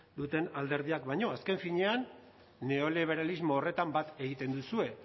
duten alderdiak baino azken finean neoliberalismo horretan bat egiten duzue